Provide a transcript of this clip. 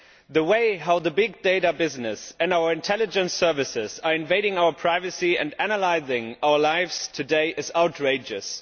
The way in which the big data business and our intelligence services are invading our privacy and analysing our lives today is outrageous.